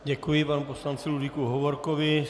Děkuji panu poslanci Ludvíku Hovorkovi.